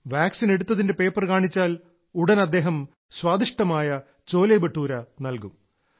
vaccine എടുത്തതിന്റെ paper കാണിച്ചാൽ ഉടൻ അദ്ദേഹം സ്വാദിഷ്ഠമായ ചോലെബട്ടൂര നൽകും